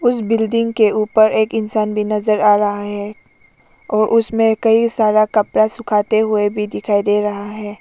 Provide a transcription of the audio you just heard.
इस बिल्डिंग के ऊपर एक इंसान भी नजर आ रहा है और उसमें कई सारा कपड़ा सुखाते हुए भी दिखाइ दे रहा है।